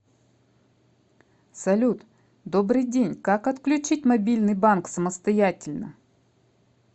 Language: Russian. салют добрый день как отключить мобильный банк самостоятельно